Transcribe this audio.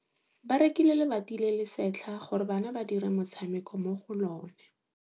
Ba rekile lebati le le setlha gore bana ba dire motshameko mo go lona.